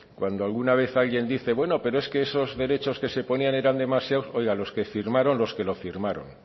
cuando alguna vez alguien dice bueno pero es que esos derechos que se ponían eran demasiados oiga los que firmaron los que lo firmaron